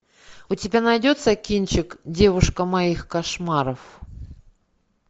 у тебя найдется кинчик девушка моих кошмаров